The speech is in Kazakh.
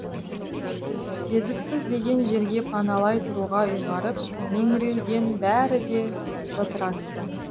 сезіксіз деген жерге паналай тұруға ұйғарып меңіреуден бәрі де бытырасты